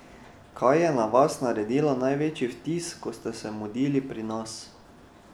Kaj je na vas naredilo največji vtis, ko ste se mudili pri nas?